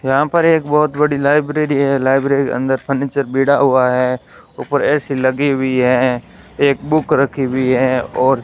यहां पर एक बहोत बड़ी लाइब्रेरी है लाइब्रेरी के अंदर फर्नीचर बीड़ा हुआ है ऊपर ए_सी लगी हुई है एक बुक रखी हुई है और --